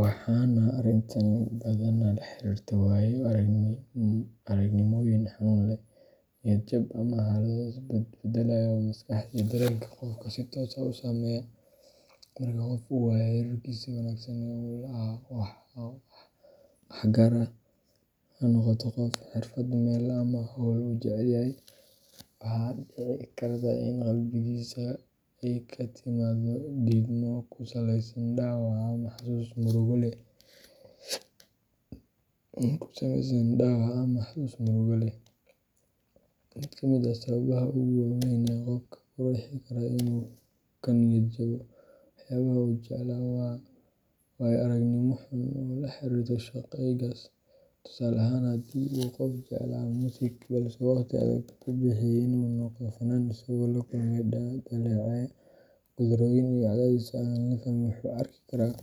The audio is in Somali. Waxaana arrintani badanaa la xiriirtaa waayo-aragnimooyin xanuun leh, niyad jab, ama xaalado is-bedbeddelaya oo maskaxda iyo dareenka qofka si toos ah u saameeya. Marka qof uu waayo xiriirkiisii wanaagsan ee uu la lahaa wax gaar ah – ha noqoto qof, xirfad, meel, ama hawl uu jecel yahay – waxaa dhici karta in qalbigiisa ay ka timaaddo diidmo ku saleysan dhaawac ama xasuus murugo leh. Mid ka mid ah sababaha ugu waa weyn ee qofka ku riixi kara inuu ka niyad jabo waxyaabaha uu jeclaa waa waayo-aragnimo xun oo la xiriirta shaygaas. Tusaale ahaan, haddii qof uu jeclaa muusik, balse uu waqti adag ku bixiyay inuu noqdo fannaan isagoo la kulmay dhaleecayn, guuldarrooyin iyo cadaadis aan la fahmin, wuxuu u arki karaa